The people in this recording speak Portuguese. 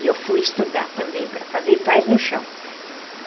E eu fui estudar também para fazer, e faz no chão.